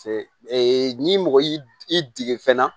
Ee ni mɔgɔ y'i dege fɛnɛ